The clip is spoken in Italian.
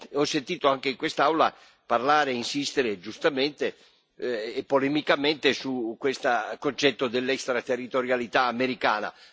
Ho sentito anche in quest'Aula parlare e insistere, giustamente e polemicamente, su questo concetto dell'extraterritorialità americana.